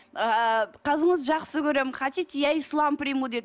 ыыы қызыңызды жақсы көремін хотите я ислам приму деді